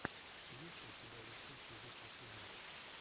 есть ли у тебя лучший эпизод литвина